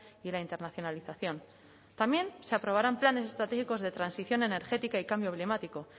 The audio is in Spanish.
y la internacionalización también se aprobarán planes estratégicos de transición energética y cambio climático